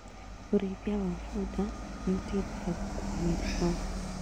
ũrĩithia wa bunda nĩũteithagia gũkua mĩrigo